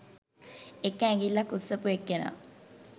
එක ඇඟිල්ලක් උස්සපු එක්කෙනා